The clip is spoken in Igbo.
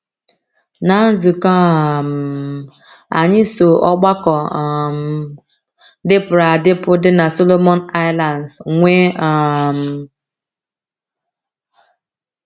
Ná nzukọ um anyị so ọgbakọ um dịpụrụ adịpụ dị na Solomon Islands nwee um